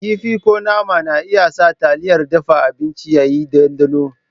Kifi ko nama na iya sa taliyar dafa abinci ya yi ɗanɗano.